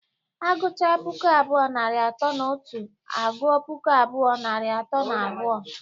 Agụcha puku abụọ, narị atọ na otu agụọ puku abụọ, narị atọ na abụọ.